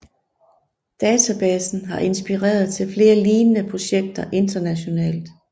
Databasen har inspireret til flere lignende projekter internationalt